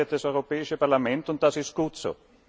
Das entscheidet das Europäische Parlament, und das ist gut so.